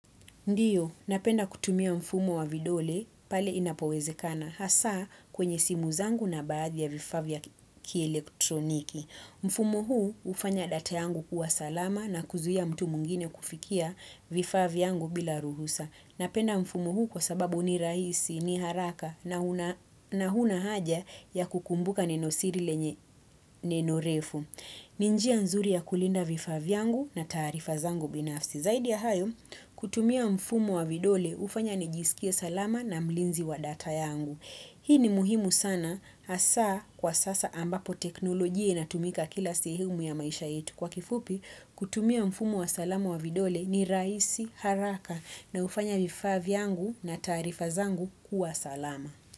Ndiyo, napenda kutumia mfumo wa vidole pale inapowezekana hasa kwenye simu zangu na baadhi ya vifaa vya kielektroniki. Mfumo huu ufanya data yangu kuwa salama na kuzuia mtu mwingine kufikia vifaa vyangu bila ruhusa. Napenda mfumo huu kwa sababu ni rahisi, ni haraka na huna haja ya kukumbuka nenosiri lenye nenorefu. Ninjia nzuri ya kulinda vifaa vyangu na taarifa zangu binafsi. Zaidi ya hayo, kutumia mfumo wa vidole, ufanya ni jisikie salama na mlinzi wa data yangu. Hii ni muhimu sana, asa kwa sasa ambapo teknolojia ina tumika kila sehemu ya maisha yetu. Kwa kifupi, kutumia mfumo wa salama wa vidole ni raisi haraka na ufanya vifaa vyangu na taarifa zangu kuwa salama.